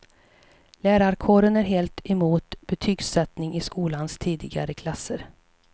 Lärarkåren är helt emot betygssättning i skolans tidigare klasser.